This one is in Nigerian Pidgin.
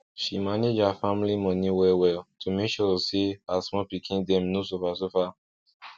she manage her family money wellwell to make sure say her small pikin dem no suffer suffer